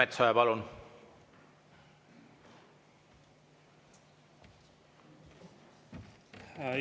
Andres Metsoja, palun!